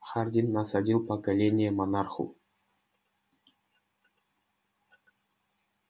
хардин насадил поколение монарху